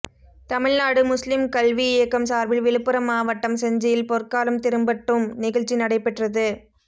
Tamil Nadu Muslim கல்வி இயக்கம் சார்பில் விழுப்புரம் மாவட்டம் செஞ்சியில் பொற்காலம் திரும்பட்டும் நிகழ்ச்சி நடைபெற்றது